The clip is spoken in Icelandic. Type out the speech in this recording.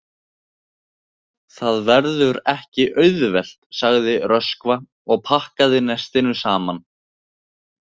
Það verður ekki auðvelt, sagði Röskva og pakkaði nestinu saman.